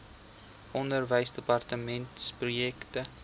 onderwysdepartementprojekte